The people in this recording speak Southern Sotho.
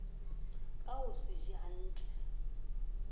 ka ho se je hnatle